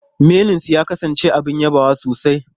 Menunsu ya kasance abin yabawa sosai.